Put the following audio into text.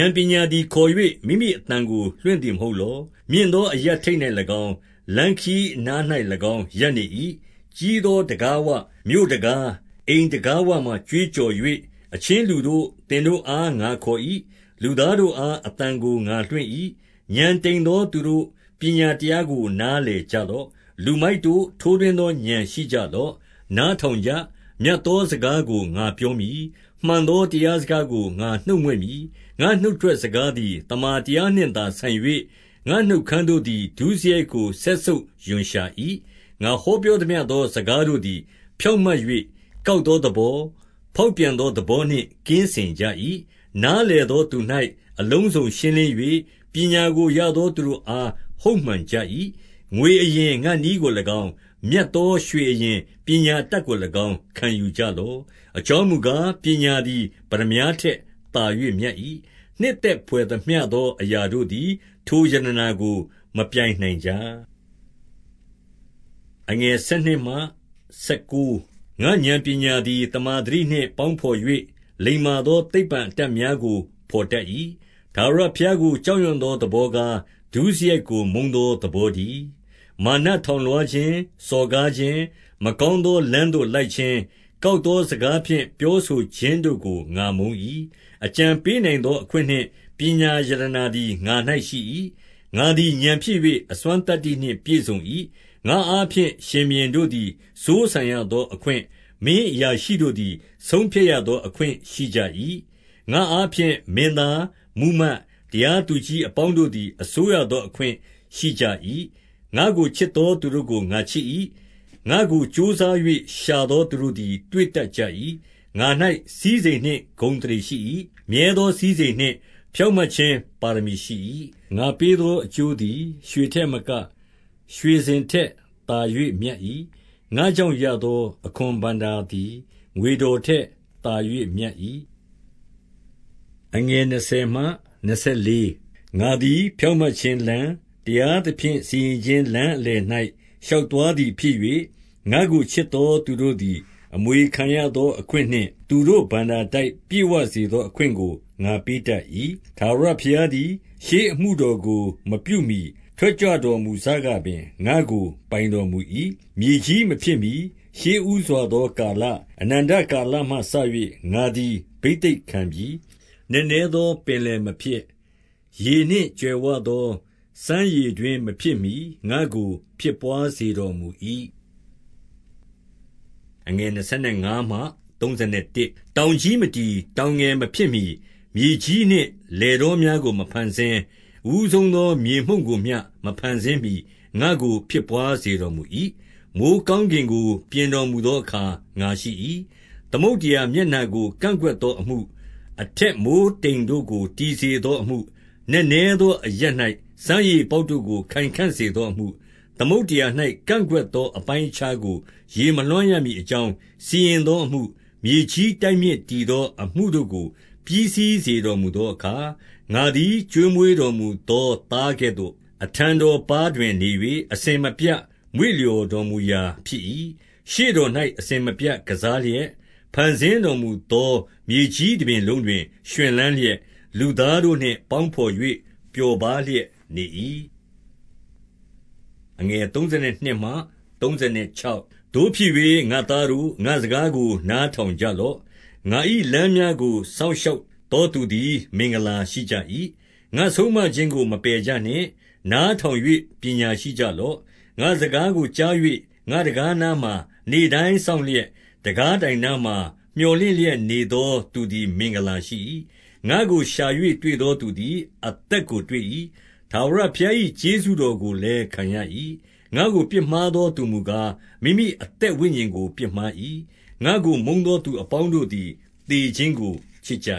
ာဏ်ပညာသည်ခေါ်၍ မိမိအသံကို လွှင့်သည် မဟုတ်လော။ 2 မြင့်သောအရပ်ထိပ်၌၎င်း၊ လမ်းခရီးအနား၌ ၎င်းရပ်နေ၏။ 3 ကြီးသောတံခါးဝ၊ မြို့တံခါး၊ အိမ်တံခါးဝမှာ ကြွေးကြော်၍၊ 4 အချင်းလူတို့၊ သင်တို့အားငါခေါ်၏။ လူသားတို့ အား အသံကို ငါလွှင့်၏။ 5 ဥာဏ်တိမ်သောသူတို့၊ ပညာတရားကို နား လည်ကြလော့။ လူမိုက်တို့၊ ထိုးထွင်းသော ဥာဏ်ရှိကြ လော့။ 6 နားထောင်ကြ။ မြတ်သောစကားကို ငါပြော မည်။ မှန်သောတရားစကားကို ငါနှုတ်မြွက်မည်။ 7 ငါ့နှုတ်ထွက်စကားသည် သမ္မာတရားနှင့်သာ ဆိုင်၍၊ ငါ့နှုတ်ခမ်းတို့သည် ဒုစရိုက်ကို စက်ဆုပ်ရွံ့ရှာ၏။ 8 ငါဟောပြောသမျှသော စကားတို့သည် ဖြောင့် မတ်၍၊ ကောက်သောသဘော၊ ဖောက်ပြန်သောသဘော နှင့် ကင်းစင်ကြ၏။ 9 နားလည်သောသူ၌ အလုံးစုံရှင်းလင်း၍၊ ပညာကိုရသော သူတို့အား ဟုတ်မှန်ကြ၏။ 10 ငွေအရင်၊ ငါ့နည်းကို၎င်း၊ မြတ်သောရွှေအရင်၊ ပညာအတတ်ကို၎င်း ခံယူကြလော့။ 11 အကြောင်းမူကား၊ ပညာသည် ပတ္တမြားထက် သာ၍မြတ်၏။ နှစ်သက်ဘွယ်သမျှသော အရာတို့သည် ထိုရတနာကို မပြိုင်နိုင်ကြ။ 12 ငါ့ဥာဏ်ပညာသည် သမ္မာသတိနှင့်ပေါင်း၍၊ လိမ္မာသော သိပ္ပံ အတတ်များကို ဘော်တတ်၏။ 13 ထာဝရဘုရားကို ကြောက်ရွံ့သောသဘောကား၊ ဒုစရိုက်ကိုမုန်းသောသဘောတည်း။ မာနထောင်လွှား ခြင်း၊ စော်ကားခြင်း၊ မကောင်းသော လမ်းသို့လိုက်ခြင်း၊ ကောက်သောစကားဖြင့်ပြောဆိုခြင်းတို့ကို ငါမုန်း၏။ 14 အကြံပေးနိုင်သော အခွင့်နှင့်ပညာရတနာသည် ငါ၌ရှိ၏။ ငါသည်ဥာဏ်ဖြစ်၍ အစွမ်းသတ္တိနှင့်ပြည့်စုံ၏။ 15 ငါ့အားဖြင့် ရှင်ဘုရင်တို့သည် စိုးစံရသော အခွင့်၊ မင်းအရာရှိတို့သည် ဆုံးဖြတ်ရသော အခွင့်ရှိ ကြ၏။ 16 ငါ့အားဖြင့် မင်းသား၊ မှူးမတ်၊ တရားသူကြီး အပေါင်းတို့သည် အစိုးရသောအခွင့် ရှိကြ၏။ 17 ငါ့ကိုချစ်သော သူတို့ကို ငါချစ်၏။ ငါ့ကိုကြိုးစား ၍ ရှာသောသူတို့သည် တွေ့တတ်ကြ၏။ 18 ငါ၌စည်းစိမ်နှင့်ဂုဏ်အသရေရှိ၏။ မြဲသော စည်းစိမ်နှင့် ဖြောင့်မတ်ခြင်းပါရမီရှိ၏။ 19 ငါပေးသောအကျိုးသည် ရွှေထက်မက၊ ရွှေစင် ထက်သာ၍မြတ်၏။ ငါကြောင့်ရသောအခွန်ဘဏ္ဍာသည် ငွေတော်ထက်သာ၍ မြတ်၏။ 20 ငါသည် ဖြောင့်မတ်ခြင်းလမ်း၊ တရားသဖြင့် စီရင်ခြင်းလမ်းအလယ်၌ ရှောက်သွားသည်ဖြစ်၍၊ 21 ငါ့ကိုချစ်သော သူတို့သည် အမွေခံရသော အခွင့်နှင့်၊ သူတို့ဘဏ္ဍာတိုက်ပြည့်ဝစေသော အခွင့်ကို ငါပေးတတ်၏။ 22 ထာဝရဘုရားသည် ရှေးအမှုတော်ကို မပြုမှီ ထွက်ကြွတော်မူစကပင် ငါ့ကို ပိုင်တော်မူ၏။ 23 မြေကြီးမဖြစ်မှီ၊ ရှေ့ဦးစွာသော ကာလ၊ အနန္တ ကာလမှစ၍ ငါသည် ဘိသိက်ခံပြီ။ 24 နက်နဲသောပင်လယ်မဖြစ်၊ ရေနှင့်ကြွယ်ဝသော စမ်းရေတွင်းမဖြစ်မှီ ငါ့ကိုဖြစ်ဘွားစေတော်မူ၏။ 25 တောင်ကြီးမတည်၊ တောင်ငယ်မဖြစ်မှီ၊ 26 မြေကြီးနှင့်လယ်တောများကို မဖန်ဆင်း၊ အဦး ဆုံးသော မြေမှုန့်ကိုမျှ မဖန်ဆင်းမှီ၊ ငါ့ကိုဖြစ်ဘွားစေ တော်မူ၏။ 27 မိုဃ်းကောင်းကင်ကို ပြင်တော်မူသော အခါငါရှိ ၏။ သမုဒ္ဒရာမျက်နှာကို ကန့်ကွက်သောအမှု၊ 28 အထက်မိုဃ်းတိမ်ကို တည်စေသောအမှု၊ နက်နဲ သောအရပ်၌ စမ်းရေပေါက်တို့ကို ခိုင်ခံ့စေသောအမှု၊ 29 သမုဒ္ဒရာ၌ ကန့်ကွက်သောအပိုင်းအခြားကို ရေ မလွှမ်းရမည်အကြောင်း စီရင်သောအမှု၊ မြေကြီးတိုက် မြစ်တည်သော အမှုတို့ကို ပြီးစီးစေတော်မူသောအခါ၊ 30 ငါသည်ကျွေးမွေးတော်မူသော သားကဲ့သို့၊ အထံတော်ပါးတွင် နေ၍၊ အစဉ်မပြတ်မွေ့လျော်တော်မူရာ ဖြစ်၏။ ရှေ့တော်၌ အစဉ် မပြတ် ကစားလျက်၊ 31 ဖန်ဆင်းတော်မူသော မြေကြီးတပြင်လုံးတွင် ရွှင်လန်းလျက်၊ လူသားတို့နှင့်ပေါင်းဘော်၍ ပျော်ပါးလျက် နေ၏။ 32 သို့ဖြစ်၍ ငါ့သားတို့၊ငါ့စကားကို နားထောင်ကြ လော့။ ငါ၏လမ်းများကို စောင့်ရှောက်သောသူတို့သည် မင်္ဂလာရှိကြ၏။ 33 ငါဆုံးမခြင်းကို မပယ်ကြနှင့်။ နားထောင်၍ ပညာရှိကြလော့။ 34 ငါ့စကားကိုကြား၍ ငါ့တံခါးနားမှာ နေ့တိုင်း စောင့်လျက်၊ တံခါးတိုင်နားမှာ မြော်လင့်လျက်နေသော သူသည်မင်္ဂလာရှိ၏။ 35 ငါ့ကိုရှာ၍တွေ့သောသူသည်အသက်ကိုတွေ့၏။ ထာဝရဘုရား၏ကျေးဇူးတော်ကိုလည်းခံရ၏။ 36 ငါ့ကိုပြစ်မှားသော သူမူကား၊ မိမိအသက် ဝိညာဉ်ကိုပြစ်မှား၏။ ငါ့ကိုမုန်းသောသူအပေါင်းတို့သည် သေခြင်းကိုချစ်ကြ